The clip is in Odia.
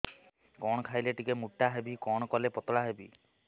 କଣ ଖାଇଲେ ଟିକେ ମୁଟା ହେବି କଣ କଲେ ପତଳା ହେବି